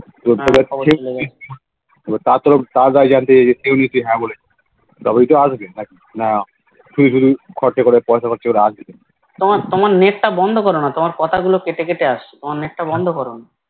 হা সবাই চলেগেছে তোমার তোমার Net টা বন্ধ করনা তোমার কথাগুলো কেটে কেটে আসছে Net টা বন্ধ করনা হে এবার চলেগেছে